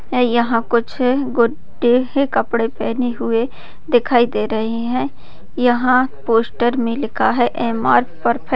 यह कुछ गुड्डे है कपड़े पहने हुए दिखाई दे रहे है यहां पोस्टर मे लिखा है एम.आर. परफेक्ट --